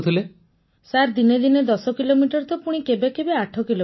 Punam Nautiyal sir ଦିନେ ଦିନେ ୧୦ kilometre ତ ପୁଣି କେବେ କେବେ ୮ କିଲୋମିଟର